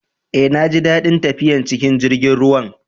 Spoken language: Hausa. Eh, na ji dadin tafiyan cikin jirigin ruwan.